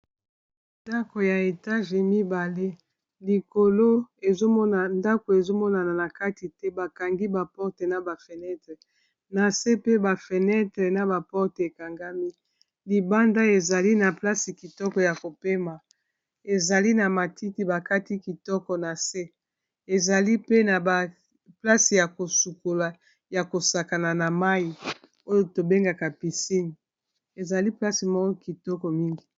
nandako ya etage mibale likolo ndako ezomonana na kati te bakangi baporte na bafenetre na se pe bafenetre na baporte ekangami libanda ezali na place kitoko ya kopema ezali na matiti bakati kitoko na se ezali pe na baplace ya kosukola ya kosakana na mai oyo tobengaka pisine ezali place mo kitoko mingi